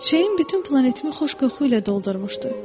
Çiçəyin bütün planetimi xoş qoxu ilə doldurmuşdu.